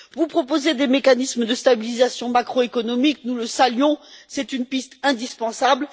Vous proposez des mécanismes de stabilisation macroéconomique nous le saluons, c'est une piste indispensable.